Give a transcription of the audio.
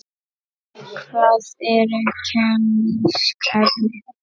Hvað eru kemísk efni?